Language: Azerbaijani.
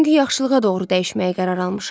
Çünki yaxşılığa doğru dəyişməyə qərar almışam.